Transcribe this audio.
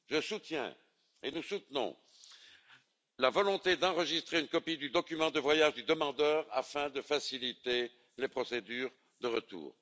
Je soutiens et nous soutenons la volonté d'enregistrer une copie du document de voyage du demandeur, afin de faciliter les procédures de retour.